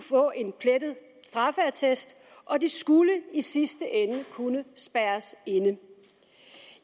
få en plettet straffeattest og de skulle i sidste ende kunne spærres inde